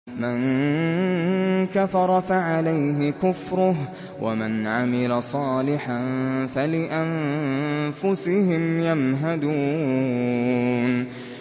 مَن كَفَرَ فَعَلَيْهِ كُفْرُهُ ۖ وَمَنْ عَمِلَ صَالِحًا فَلِأَنفُسِهِمْ يَمْهَدُونَ